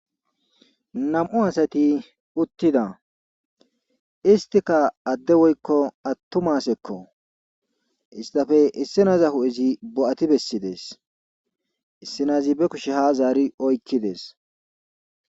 Nam7u asati uttida istika adde woykko attumasekko istafe issinaza hu7ezi bo7ati bessides issinazi be kushe ha zaari oykkides.